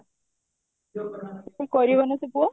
କଣ କରିବ ଏଇନେ ସେ ପୁଅ?